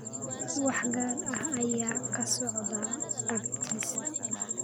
wax gaar ah ayaa ka socda agtiisa